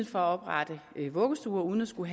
for at oprette vuggestuer uden at skulle